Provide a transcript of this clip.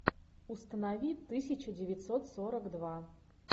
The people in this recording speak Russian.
установи тысяча девятьсот сорок два